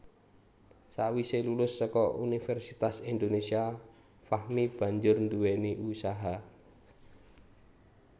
Sawise lulus saka Universitas Indonésia Fahmi banjur nduwèni usaha